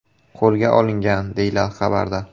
qo‘lga olingan”, deyiladi xabarda.